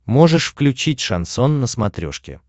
можешь включить шансон на смотрешке